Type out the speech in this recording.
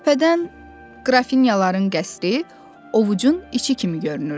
Təpədən qrafinyaların qəsri ovucun içi kimi görünürdü.